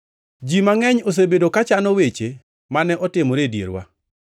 Ji mangʼeny osebedo ka chano weche mane otimore e dierwa,